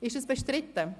Gibt es Einwände?